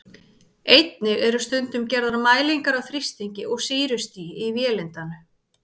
Einnig eru stundum gerðar mælingar á þrýstingi og sýrustigi í vélindanu.